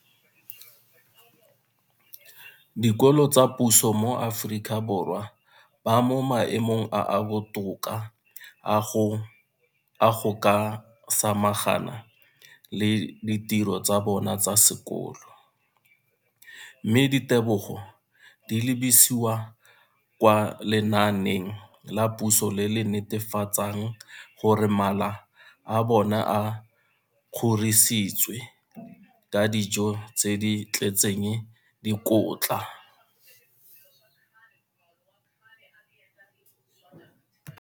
Dikolo tsa puso mo Aforika Borwa ba mo maemong a a botoka a go ka samagana le ditiro tsa bona tsa sekolo, mme ditebogo di lebisiwa kwa lenaaneng la puso le le netefatsang gore mala a bona a kgorisitswe ka dijo tse di tletseng dikotla.